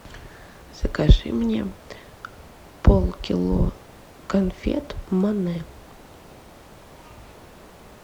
закажи мне пол кило конфет моне